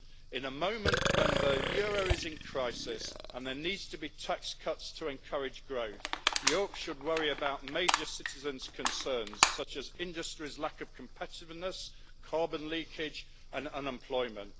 In a moment when the euro is in crisis and there need to be tax cuts to encourage growth, Europe should worry about major citizens' concerns, such as industry's lack of competitiveness, carbon leakage and unemployment.